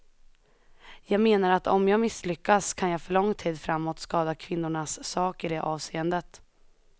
Jag menar att om jag misslyckas kan jag för lång tid framåt skada kvinnornas sak i det avseendet.